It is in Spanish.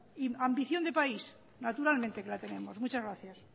y ambición de país naturalmente que la tenemos muchas gracias